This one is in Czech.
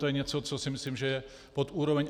To je něco, co si myslím, že je pod úroveň.